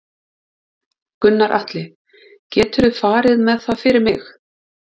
Gunnar Atli: Geturðu farið með það fyrir mig?